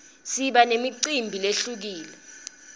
siba nemicimbi lehlukile